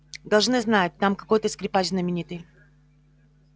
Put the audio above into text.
должны знать там какой то скрипач знаменитый